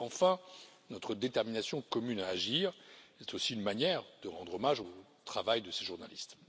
Enfin, notre détermination commune à agir, c'est aussi une manière de rendre hommage au travail de ces journalistes.